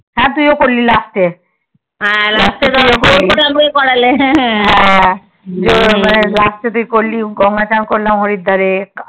হ্যা তুই ও করলি last এ last এ তুই করলি করলি গঙ্গা চান করলাম হরিদ্বার এ